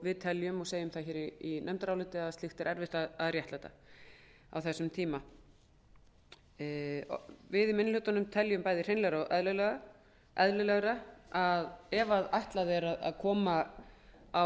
við teljum og segjum það í nefndaráliti að slíkt sé erfitt að réttlæta á þessum tíma við í minni hlutanum teljum bæði hreinlegra og eðlilegra að ef ætlað er að koma á